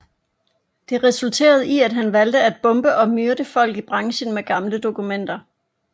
Det resulterede i at han valgte at bombe og myrde folk i branchen med gamle dokumenter